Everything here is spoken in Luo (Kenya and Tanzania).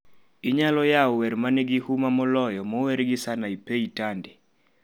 Inyalo yawo wer manigi huma moloyo mowergi sanaipei tande